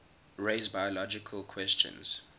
raise biological questions